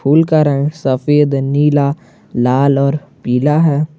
फूल का रंग सफेद नीला लाल और पीला है।